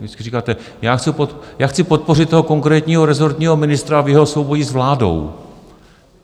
Vždycky říkáte: Já chci podpořit toho konkrétního rezortního ministra v jeho souboji s vládou.